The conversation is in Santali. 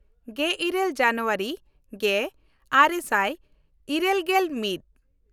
ᱜᱮᱞᱤᱨᱟᱹᱞ ᱡᱟᱱᱩᱣᱟᱨᱤ ᱜᱮᱼᱟᱨᱮ ᱥᱟᱭ ᱤᱨᱟᱹᱞᱜᱮᱞ ᱢᱤᱫ